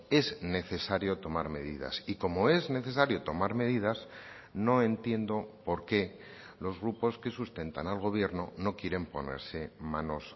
es necesario tomar medidas y como es necesario tomar medidas no entiendo por qué los grupos que sustentan al gobierno no quieren ponerse manos